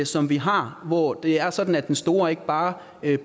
som vi har hvor det er sådan at den store ikke bare